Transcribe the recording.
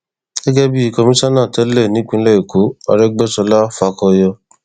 gẹgẹ bíi kọmíṣánná tẹlẹ nípìnlẹ ẹkọ arógbéṣọlá fàkóyọ